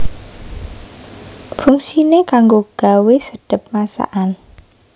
Fungsiné kanggo gawé sedhep masakan